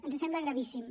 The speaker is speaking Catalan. ens sembla gravíssim